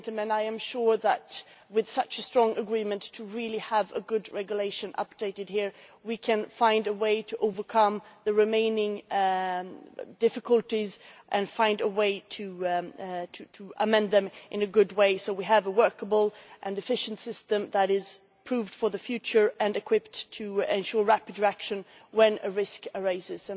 I am sure that with such a strong agreement to really have a good regulation updated here, we can find a way to overcome the remaining difficulties and find a way to amend them in the right way so that we have a workable and efficient system that is proven for the future and equipped to ensure rapid reaction when a risk arises.